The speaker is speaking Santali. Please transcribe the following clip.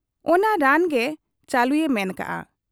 ᱚᱱᱟ ᱨᱟᱱᱜᱮ ᱪᱟᱹᱞᱩᱭᱮ ᱢᱮᱱ ᱠᱮᱜ ᱟ ᱾